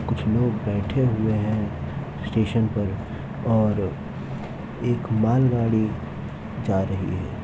कुछ लोग बैठे हुए हैं स्टेशन पर और एक मालगाड़ी जा रही है।